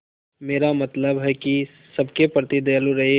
मेरा मतलब है कि सबके प्रति दयालु रहें